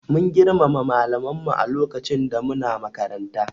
We respected our teachers while we were in school